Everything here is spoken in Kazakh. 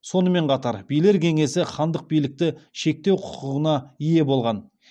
сонымен қатар билер кеңесі хандық билікті шектеу құқығына ие болған